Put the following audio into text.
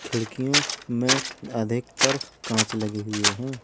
खिड़कियों में अधिकतर कांच लगे हुए हैं।